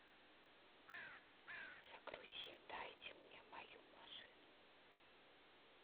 загрузи дайте мне мою машину